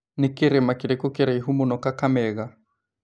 Nĩ kĩrĩma kĩrĩkũ kĩraihu mũno Kakamega